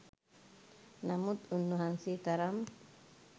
නමුත් උන්වහන්සේ තරම්